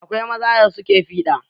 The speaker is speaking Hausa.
Akwai maza da suke fiɗa.